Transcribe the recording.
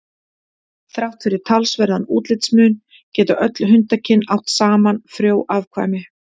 Þrátt fyrir talsverðan útlitsmun geta öll hundakyn átt saman frjó afkvæmi.